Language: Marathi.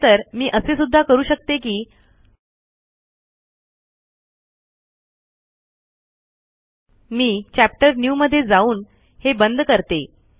खरे तर मी असे सुद्धा करू शकते कि मी chapter न्यू मध्ये जाऊनहे बंद करते